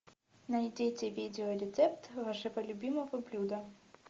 найдите видеорецепт вашего любимого блюда